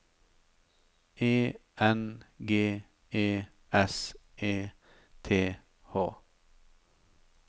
E N G E S E T H